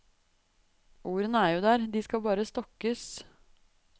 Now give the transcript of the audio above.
Ordene er jo der, de skal bare stokkes.